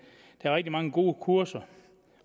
er rigtig mange gode kurser